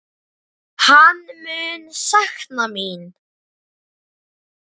Hann mun sakna mín.